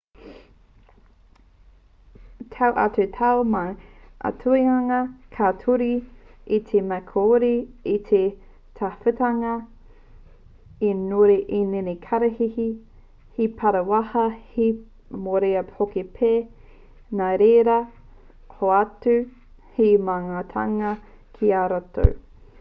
tau atu tau mai ka aituangia ngā tūruhi i te mea kāore i tika te tawhititanga he nunui ēnei kararehe he pāwhara he mōrearea hoki pea nāreira hoatu he maheatanga ki a rātou